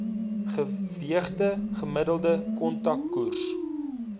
geweegde gemiddelde kontantkoers